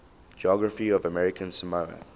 geography of american samoa